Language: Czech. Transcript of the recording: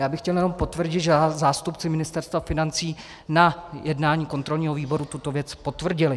Já bych chtěl jenom potvrdit, že zástupci Ministerstva financí na jednání kontrolního výboru tuto věc potvrdili.